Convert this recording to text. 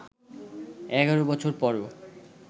১১ বছর পরও